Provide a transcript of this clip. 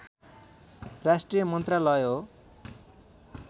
राष्ट्रिय मन्त्रालय हो